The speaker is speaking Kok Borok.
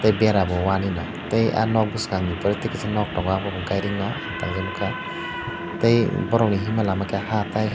bera bo wahh ni no tai aw nok bwskango pore tai wahh tongo gari no tangjak nugkha tai borok ni hima lama ke haa tai.